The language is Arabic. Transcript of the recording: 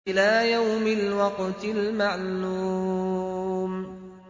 إِلَىٰ يَوْمِ الْوَقْتِ الْمَعْلُومِ